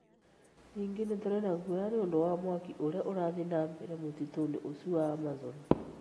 Ningĩ nĩ tũrĩ na guoya nĩ ũndũ wa mwaki ũrĩa ũrathiĩ na mbere mũtitũ-inĩ ucio wa Amazon.